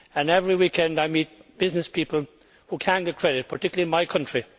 Every weekend, I meet business people who cannot get credit, particularly in my country.